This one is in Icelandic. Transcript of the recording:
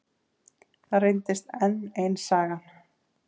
Það reyndist enn ein sagan.